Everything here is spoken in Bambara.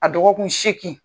A dɔgɔkun seeki.